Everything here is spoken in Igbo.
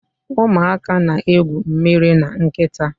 Ụmụaka na-egwu mmiri na nkịta